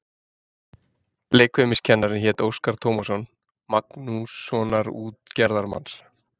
Leikfimiskennarinn hét Óskar Tómasson, Magnússonar út- gerðarmanns.